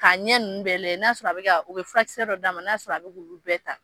Ka ɲɛ nunnu bɛɛ lajɛ n'a sɔrɔ a be ka, u bi furakisɛ dɔ d'a ma n'a sɔrɔ a be k'ulu bɛɛ ta.